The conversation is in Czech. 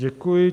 Děkuji.